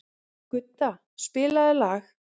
Gudda, spilaðu lag.